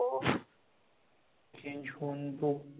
Change होऊन तो,